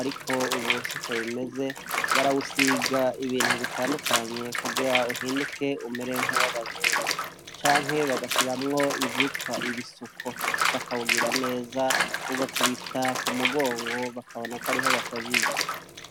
ariko ubusuko bimeze barawusiga ibintu bitandukanye kugira uhinduke umerenka w'abazungu canke bagashiramwo ivyitwa ibisuko bakawugira neza a ugakubita ku mugongo bakabona ko ariho bashajije.